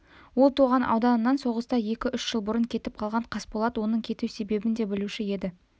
ол туған ауданынан соғыста екі-үш жыл бұрын кетіп қалған қасболат оның кету себебін де білуші еді